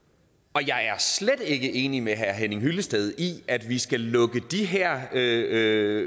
og jeg er slet ikke enig med herre henning hyllested i at vi skal lukke de her her